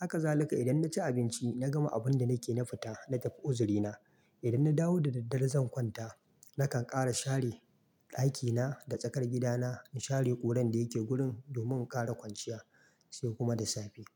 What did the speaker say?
Haka zalika idan na ci abinci, na gama abun da nake na fita na tafi uzirina. Idan na dawo da daddare zan kwanta, na kan ƙara share ɗakina da tsakar gidana, na share ƙuran da yake gurin domin ƙara kwanciya sai kuma da safe.